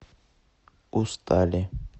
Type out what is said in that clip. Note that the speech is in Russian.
устали